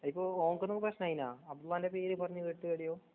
അതിപ്പോഓൻകൊറൂ പ്രശ്‌നായിനാ ഉമ്മാന്റെപേര്പറഞ്ഞുകേട്ടു എവിടെയോ.